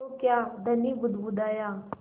तो क्या धनी बुदबुदाया